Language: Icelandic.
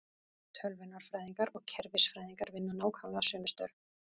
Tölvunarfræðingar og kerfisfræðingar vinna nákvæmlega sömu störf.